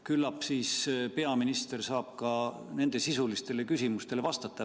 Küllap siis peaminister saab ka nendele sisulistele küsimustele vastata.